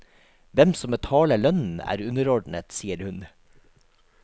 Hvem som betaler lønnen er underordnet, sier hun.